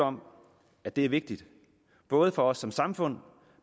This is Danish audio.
om at det er vigtigt både for os som samfund